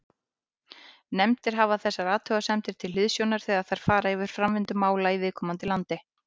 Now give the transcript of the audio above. Nefndir hafa þessar athugasemdir til hliðsjónar þegar þær fara yfir framvindu mála í viðkomandi landi.